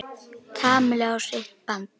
Kamillu á sitt band.